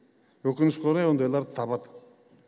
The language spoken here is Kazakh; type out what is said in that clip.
өкінішке орай ондайларды табады